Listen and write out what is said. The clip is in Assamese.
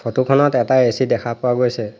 ফটো খনত এটা এ_চি দেখা পোৱা গৈছে।